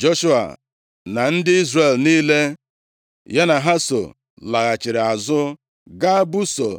Joshua na ndị Izrel niile ya na ha so laghachiri azụ gaa busoo